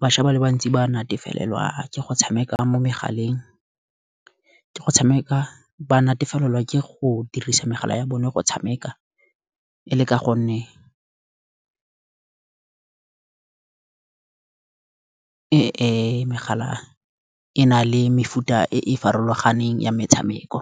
bašwa ba le bantsi ba natefalelwe ke go tshameka mo megaleng, ke go tshameka ba natefalelwe ke go dirisa tsala ya bone go tshameka. E le ka gonne megala e na le mefuta e farologaneng ya metshameko.